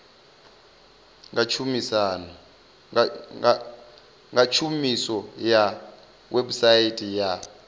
nga tshumiso ya website ya